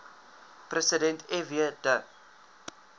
president fw de